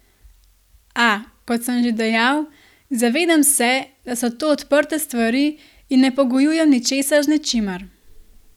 A, kot sem že dejal, zavedam se, da so to odprte stvari in ne pogojujem ničesar z ničimer.